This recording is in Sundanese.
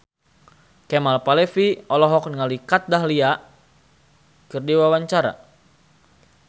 Kemal Palevi olohok ningali Kat Dahlia keur diwawancara